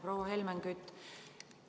Proua Helmen Kütt!